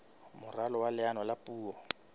moralo wa leano la puo